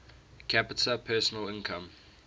capita personal income